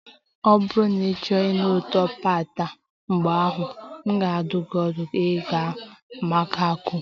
Ọ bụrụ na ịchọrọ ịnụ ụtọ pad Thai, mgbe ahụ, m ga-adụ gị ọdụ ịga Bangkok